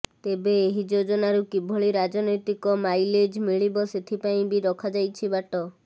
ତେବେ ଏହି ଯୋଜନାରୁ କିଭଳି ରାଜନୈତିକ ମାଇଲେଜ୍ ମିଳିବ ସେଥିପାଇଁ ବି ରଖାଯାଇଛି ବାଟ